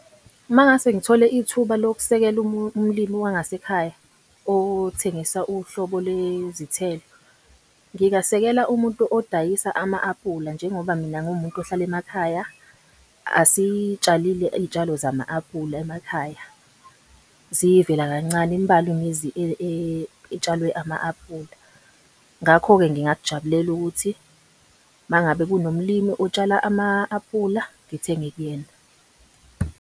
Uma ngingase ngithole ithuba lokusekela umlimi wangasekhaya othengisa uhlobo lwezithelo, ngingasekela umuntu odayisa ama-apula. Njengoba mina ngiwumuntu ohlala emakhaya, asitshalile iy'tshalo zama-apula emakhaya, ziyivela kancane, imbalwa imizi etshalwe ama-aphula. Ngakho-ke, ngingakujabulela ukuthi uma ngabe kunomlimi otshala ama-aphula ngithenge kuyena.